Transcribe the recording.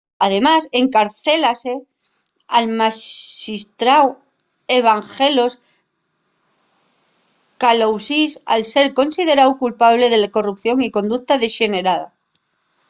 además encarcélase al maxistráu evangelos kalousis al ser consideráu culpable de corrupción y conducta dexenerada